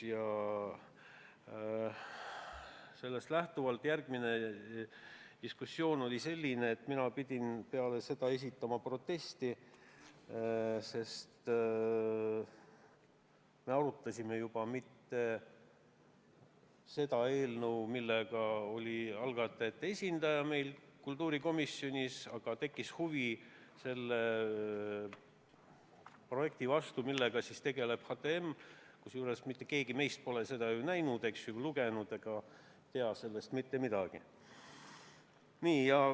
Ja sellest lähtuvalt järgnenud diskussioon oli selline, et mina pidin esitama protesti, sest me ei arutanud enam mitte seda eelnõu, millega algatajate esindaja meil kultuurikomisjonis oli, vaid tekkis huvi selle projekti vastu, millega HTM tegeleb, kusjuures mitte keegi meist pole seda näinud ega tea sellest mitte midagi.